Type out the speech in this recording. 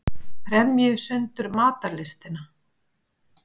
Kremji sundur matarlystina.